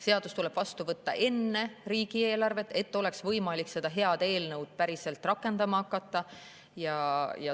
Seadus tuleb vastu võtta enne riigieelarvet, et oleks võimalik seda head eelnõu päriselt rakendama hakata.